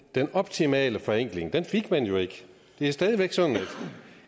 den optimale forenkling fik man jo ikke det er stadig væk sådan